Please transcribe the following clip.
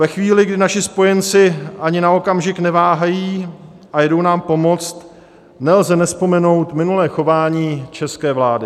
Ve chvíli, kdy naši spojenci ani na okamžik neváhají a jdou nám pomoct, nelze nevzpomenout minulé chování české vlády.